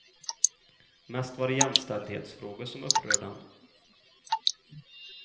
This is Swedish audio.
Mest var det jämställdhetsfrågor som upprörde henne.